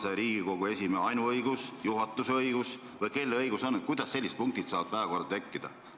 On see Riigikogu esimehe ainuõigus, juhatuse õigus või kelle õigus on selliseid punkte päevakorda panna?